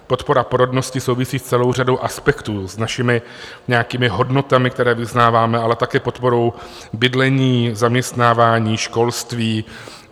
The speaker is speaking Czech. Podpora porodnosti souvisí s celou řadou aspektů, s našimi nějakými hodnotami, které vyznáváme, ale také podporou bydlení, zaměstnávání, školství.